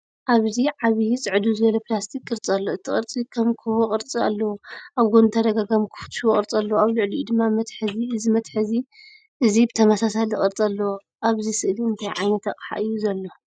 ኣብዚ ዓቢ ፅድው ዝበለ ፕላስቲክ ቅርጺ ኣሎ። እቲ ቅርጺ ከም ኩቦ ቅርጺ ኣለዎ፤ ኣብ ጎድኑ ተደጋጋሚ ክፉት ሽቦ ቅርጺ ኣለዎ። ኣብ ልዕሊኡ ድማ መትሓዚ፤ እዚ መትሓዚ እዚ ብተመሳሳሊ ቅርጺ ኣለዎ። ኣብዚ ስእሊ እንታይ ዓይነት ኣቕሓ እዩ ዘሎ?